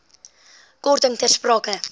korting ter sprake